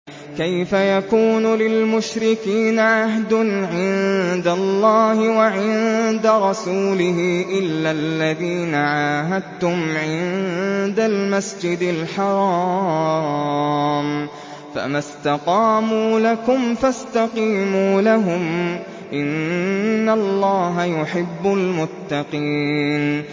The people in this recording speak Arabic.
كَيْفَ يَكُونُ لِلْمُشْرِكِينَ عَهْدٌ عِندَ اللَّهِ وَعِندَ رَسُولِهِ إِلَّا الَّذِينَ عَاهَدتُّمْ عِندَ الْمَسْجِدِ الْحَرَامِ ۖ فَمَا اسْتَقَامُوا لَكُمْ فَاسْتَقِيمُوا لَهُمْ ۚ إِنَّ اللَّهَ يُحِبُّ الْمُتَّقِينَ